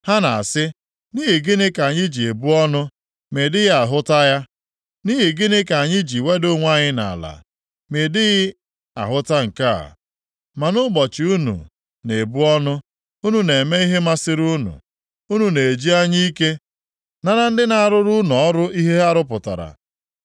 Ha na-asị, ‘Nʼihi gịnị ka anyị ji ebu ọnụ, ma ị dịghị ahụta ya? Nʼihi gịnị ka anyị ji weda onwe anyị nʼala, ma ị dịghị ahụta nke a?’ “Ma nʼụbọchị unu na-ebu ọnụ, unu na-eme ihe masịrị unu, unu na-eji anya ike nara ndị na-arụrụ unu ọrụ ihe ha rụpụtara.